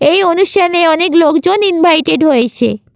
এই অনুষ্ঠানে অনেক লোকজন ইনভাইটেড হয়েছে--